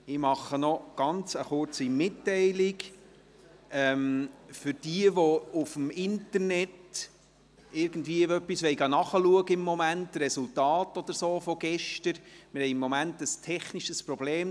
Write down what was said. Ich mache noch eine kurze Mitteilung für diejenigen, die auf dem Internet etwas nachschauen wollen, Resultate von gestern oder so: Wir haben im Moment ein technisches Problem.